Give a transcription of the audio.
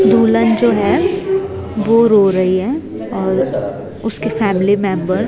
दुल्हन जो है वो रो रही है और उसके फैमिली मेंबर --